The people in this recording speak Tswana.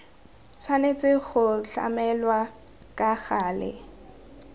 tshwanetse go tlamelwa ka gale